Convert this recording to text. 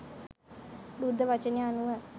බුද්ධ වචනය අනුව